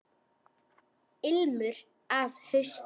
Ilmur af hausti!